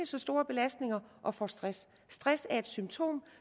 så store belastninger og får stress stress er et symptom